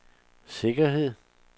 sikkerhed